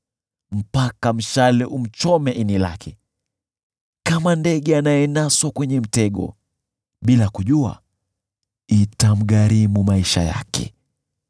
mpaka mshale umchome ini lake, kama ndege anayenaswa kwenye mtego, bila kujua itamgharimu maisha yake.